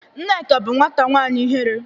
Nneka bu nwata nwanyi ihere